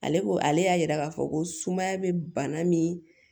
Ale ko ale y'a yira k'a fɔ ko sumaya bɛ bana min